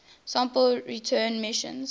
sample return missions